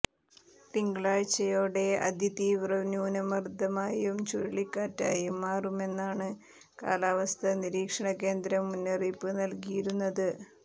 തിങ്കളാഴ്ചയോടെ അതിതീവ്രന്യൂനമർദ്ദമായും ചുഴലികാറ്റായും മാറുമെന്നാണ് കാലാവസ്ഥ നിരീക്ഷണ കേന്ദ്രം മുന്നറിപ്പ് നൽകിയിരുന്നത്